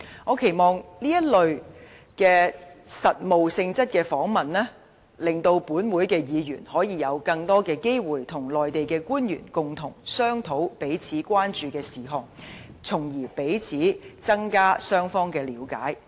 我期望通過這類實務性質的訪問，令本會議員可以有更多機會與內地官員共同商討彼此關注的事項，從而增加彼此之間的了解。